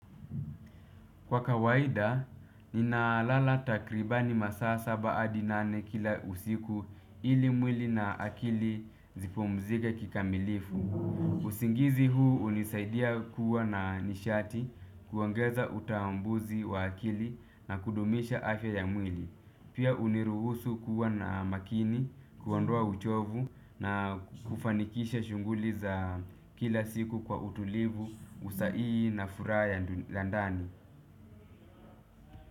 Kwa kawaida, nina lala takribani masaa saba hadi nane kila usiku ili mwili na akili zipomzige kikamilifu. Usingizi huu hunisaidia kuwa na nishati kuangaza utambuzi wa akili na kudumisha afya ya mwili. Pia huniruhusu kuwa na makini, kuondoa uchovu na kufanikisha shughuli za kila siku kwa utulivu, usaihihi na furaha ya ndani.